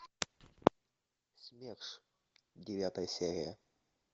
смерш девятая серия